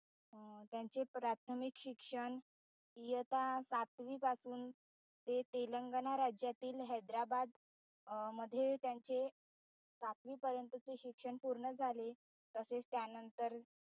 अं त्यांचे प्राथमिक शिक्षण इयत्ता सातवी पासून ते तेलंगणा राज्यातील हैद्राबाद मध्ये त्यांचे सातवीपर्यंतचे शिक्षण पूर्ण झाले. तसेच त्यानंतर